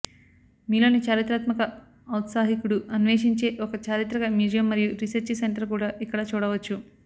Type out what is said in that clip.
మీలోని చారిత్రాత్మక ఔత్సాహికుడు అన్వేషించే ఒక చారిత్రక మ్యూజియం మరియు రీసెర్చి సెంటర్ కూడా ఇక్కడ చూడవచ్చు